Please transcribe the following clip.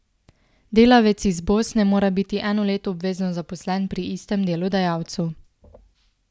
Delavec iz Bosne mora biti eno leto obvezno zaposlen pri istem delodajalcu.